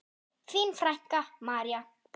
Þín frænka, María.